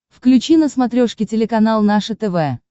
включи на смотрешке телеканал наше тв